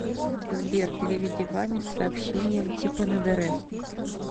сбер переведи ване с сообщением типа на др